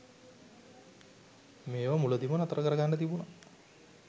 මේවා මුලදිම නතර කරගන්න තිබුණා.